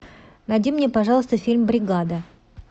найди мне пожалуйста фильм бригада